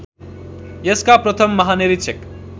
यसका प्रथम महानिरीक्षक